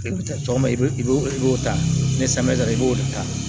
I bɛ taa tɔnbɛ i bɛ i b'o ta ni i b'o de ta